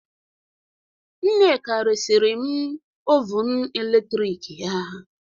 Nneka resịrị m ovun eletrik ya